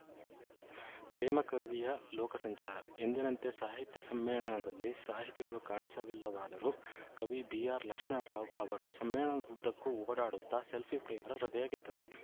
ಪ್ರೇಮಕವಿಯ ಲೋಕಸಂಚಾರ ಎಂದಿನಂತೆ ಸಾಹಿತ್ಯ ಸಮ್ಮೇಳನದಲ್ಲಿ ಸಾಹಿತಿಗಳು ಕಾಣಿಸಲಿಲ್ಲವಾದರೂ ಕವಿ ಬಿಆರ್‌ಲಕ್ಷ್ಮಣರಾವ್‌ ಅವರು ಸಮ್ಮೇಳನದುದ್ದಕ್ಕೂ ಓಡಾಡುತ್ತ ಸೆಲ್ಫಿಪ್ರಿಯರ ಹೃದಯ ಗೆದ್ದರು